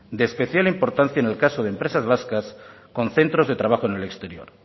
de especial importancia en el caso de empresas vascas con centros de trabajo en el exterior